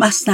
گفت